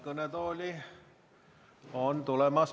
Kõnetooli on tulemas Mihhail Lotman Isamaa fraktsiooni nimel, palun!